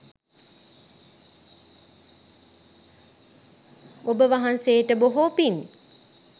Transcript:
ඔබ වහන්සේට බොහෝ පින්